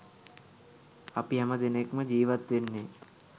අපි හැම දෙනෙක්‌ම ජීවත් වෙන්නේ